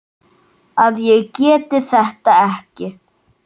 að ég geti þetta ekki.